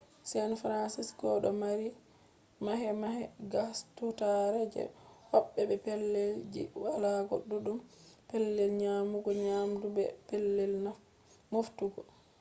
san fransisco do mari mahe-mahe gaagustaare je hobbe be pellel ji walago duddum pellel nyamugo nyamdu be pellel moftugo